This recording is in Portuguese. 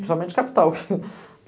Principalmente capital.